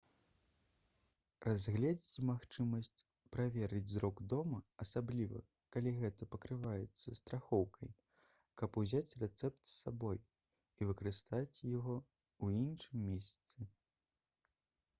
разгледзьце магчымасць праверыць зрок дома асабліва калі гэта пакрываецца страхоўкай каб узяць рэцэпт з сабой і выкарыстаць яго ў іншым месцы